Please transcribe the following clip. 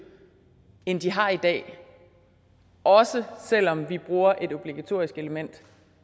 end de har i dag også selv om vi bruger et obligatorisk element